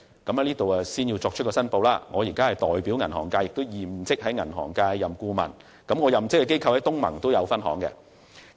我要在此作出申報，作為銀行界的代表，我現職銀行顧問，而我任職的機構在東盟也有開設分行。